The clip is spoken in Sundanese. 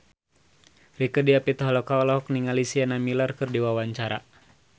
Rieke Diah Pitaloka olohok ningali Sienna Miller keur diwawancara